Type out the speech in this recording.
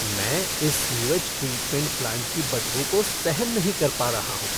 मैं इस sewage treatment plant की बदबू को सहन नहीं पा रहा हूँ।